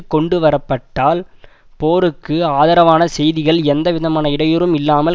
கொண்டு வரப்படல் போருக்கு ஆதரவான செய்திகள் எந்த விதமான இடையூறும் இல்லாமல்